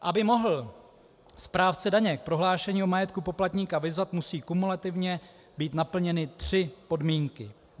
Aby mohl správce daně k prohlášení o majetku poplatníka vyzvat, musí kumulativně být naplněny tři podmínky: